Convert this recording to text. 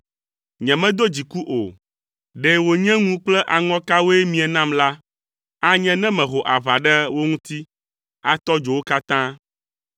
Nyemedo dziku o. Ɖe wònye ŋu kple aŋɔkawoe mie nam la, anye ne meho aʋa ɖe wo ŋuti, atɔ dzo wo katã.